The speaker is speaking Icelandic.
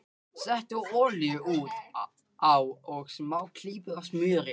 Settu olíu út á og smá klípu af smjöri.